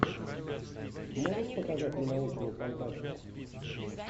можешь показать мне научную фантастику